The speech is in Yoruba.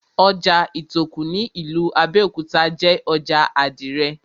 Ojà Ìtòkù ní ìlú Abẹ́òkúta jé ojà àdìrẹ̀